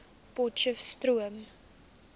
potcheftsroom